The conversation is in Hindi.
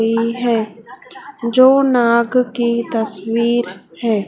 ये है जो नाग की तस्वीर है।